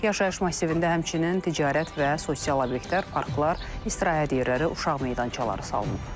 Yaşayış massivində həmçinin ticarət və sosial obyektlər, parklar, istirahət yerləri, uşaq meydançaları salınıb.